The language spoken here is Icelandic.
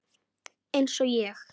Eins og ég.